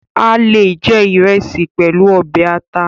A le je Iresi pẹlu ọbẹ ata